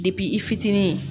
i fitinin